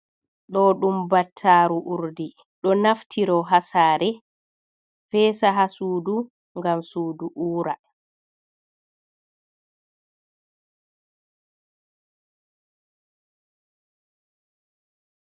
Ɗo ɗum battaru urdi, ɗo naftiro hasare fesa ha sudu gam sudu ura.